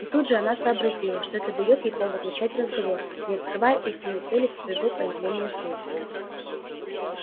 и тут же она сообразила что это даёт ей повод начать разговор не открывая истинной цели своего появления здесь